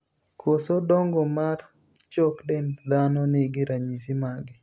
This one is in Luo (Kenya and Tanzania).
koso dongo mar chok dend dhano nigi ranyisi mage